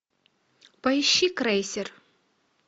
поищи крейсер